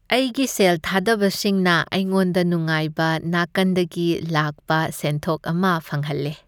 ꯑꯩꯒꯤ ꯁꯦꯜ ꯊꯥꯗꯕꯁꯤꯡꯅ ꯑꯩꯉꯣꯟꯗ ꯅꯨꯡꯉꯥꯏꯕ ꯅꯥꯀꯟꯗꯒꯤ ꯂꯥꯛꯄ ꯁꯦꯟꯊꯣꯛ ꯑꯃ ꯐꯪꯍꯜꯂꯦ꯫